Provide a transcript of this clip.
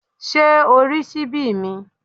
Ṣé o rí ṣíbí mi?